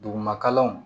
Dugumakalanw